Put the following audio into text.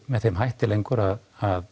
með þeim hætti lengur að að